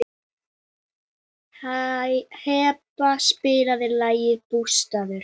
Heba, spilaðu lagið „Bústaðir“.